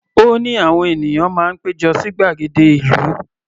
Ó ní àwọn ènìyàn máa ń pé jọ sí gbàgede ìlú.